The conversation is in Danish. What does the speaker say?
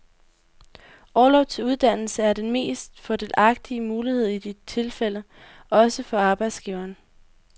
Orlov til uddannelse er den mest fordelagtige mulighed i dit tilfælde, også for arbejdsgiveren.